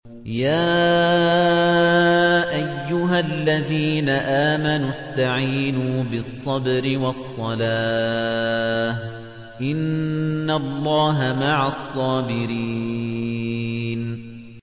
يَا أَيُّهَا الَّذِينَ آمَنُوا اسْتَعِينُوا بِالصَّبْرِ وَالصَّلَاةِ ۚ إِنَّ اللَّهَ مَعَ الصَّابِرِينَ